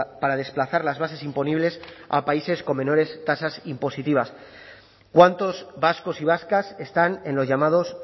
para desplazar las bases imponibles a países con menores tasas impositivas cuántos vascos y vascas están en los llamados